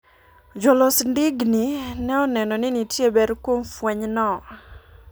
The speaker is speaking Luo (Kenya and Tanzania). Jolos ndingni ne oneno ni nitie ber kuom fweny no.